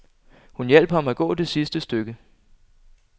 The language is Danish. Hun hjalp ham at gå det sidste stykke.